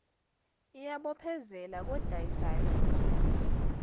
iyabophezela kodayisayo ngethuluzi